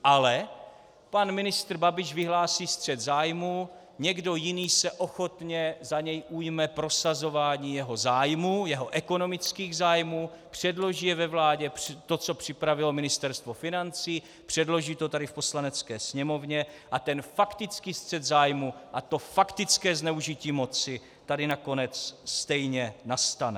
Ale pan ministr Babiš vyhlásí střet zájmů, někdo jiný se ochotně za něj ujme prosazování jeho zájmů, jeho ekonomických zájmů, předloží ve vládě to, co připravilo Ministerstvo financí, předloží to tady v Poslanecké sněmovně, a ten faktický střet zájmů a to faktické zneužití moci tady nakonec stejně nastane.